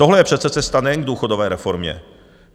Tohle je přece cesta, nejen k důchodové reformě.